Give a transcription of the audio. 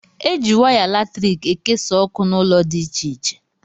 Eji waya latriki ekesa ọkụ n' ụlọ dị ịche ịche